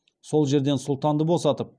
сол жерден сұлтанды босатып